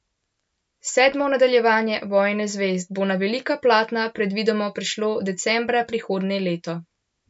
Sedmo nadaljevanje Vojne zvezd bo na velika platna predvidoma prišlo decembra prihodnje leto.